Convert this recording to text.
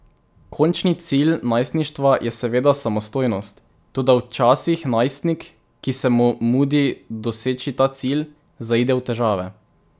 Končni cilj najstništva je seveda samostojnost, toda včasih najstnik, ki se mu mudi doseči ta cilj, zaide v težave.